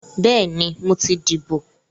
Bẹ́ẹ̀ni, mo ti dìbò